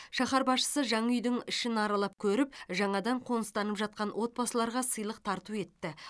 шаһар басшысы жаңа үйдің ішін аралап көріп жаңадан қоныстанып жатқан отбасыларға сыйлық тарту етті